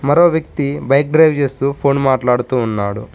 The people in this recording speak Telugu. అక్కడో వ్యక్తి బైక్ డ్రైవ్ చేస్తూ ఫోన్ మాట్లాడుతూ ఉన్నాడు.